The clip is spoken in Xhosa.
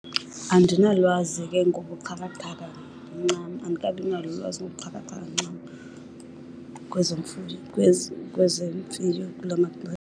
Andinalwazi ke ngobuxhakaxhaka ncam. Andikabi nalo ulwazi ngokobuxhakaxhaka ncam kwezemfuyo kula .